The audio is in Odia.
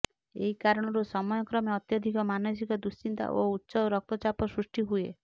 ଏହି କାରଣରୁ ସମୟ କ୍ରମେ ଅତ୍ୟଧିକ ମାନସିକ ଦୁଶ୍ଚିନ୍ତା ଓ ଉଚ୍ଚ ରକ୍ତଚାପ ସୃଷ୍ଟି ହୁଏ